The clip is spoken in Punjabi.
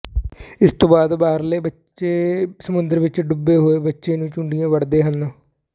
ਇਸ ਤੋਂ ਬਾਅਦ ਬਾਹਰਲੇ ਬੱਚੇ ਸਮੁੰਦਰ ਵਿੱਚ ਡੁੱਬੇ ਹੋਏ ਬੱਚੇ ਨੂੰ ਚੂੰਡੀਆਂ ਵੱਢਦੇ ਹਨ